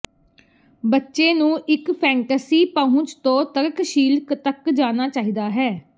ਬੱਚੇ ਨੂੰ ਇੱਕ ਫੈਨਟਸੀ ਪਹੁੰਚ ਤੋਂ ਤਰਕਸ਼ੀਲ ਤੱਕ ਜਾਣਾ ਚਾਹੀਦਾ ਹੈ